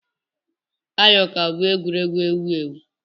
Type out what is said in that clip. Ayo ka bụ egwuregwu ewu ewu.